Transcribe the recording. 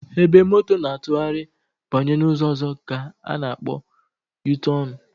Ebe moto na-atụgharị banye n'ụzọ ọzọ ka a na akpọ yutọnụ